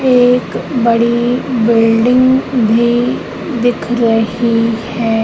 एक बड़ी बिल्डिंग भी दिख रही है।